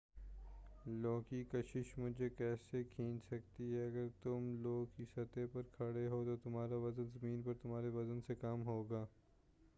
لو کی کشش مجھے کیسے کھینچ سکتی ہے اگر تم لو کی سطح پر کھڑے ہو تو تمہارا وزن زمین پر تمہارے وزن سے کم ہو گا